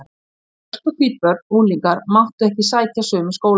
Svört og hvít börn og unglingar máttu ekki sækja sömu skólana.